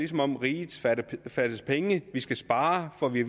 som om riget fattes penge vi skal spare får vi